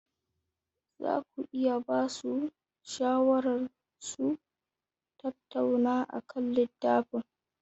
Za ku iya ba su shawarar su tattauna akan littafin?